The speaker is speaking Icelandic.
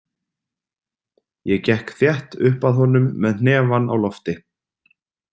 Ég gekk þétt upp að honum með hnefann á lofti.